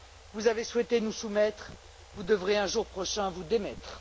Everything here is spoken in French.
Vous avez souhaité nous soumettre, vous devrez un jour prochain vous démettre.